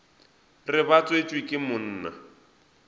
re ba tswetšwe ke monna